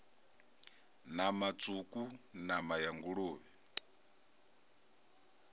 nama tswuku nama ya nguluvhe